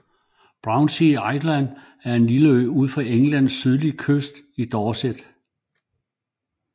Brownsea Island er en lille ø ud for Englands sydlige kyst i Dorset